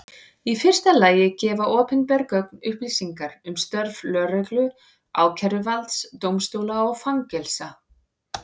Í fyrsta lagi gefa opinber gögn upplýsingar um störf lögreglu, ákæruvalds, dómstóla og fangelsa.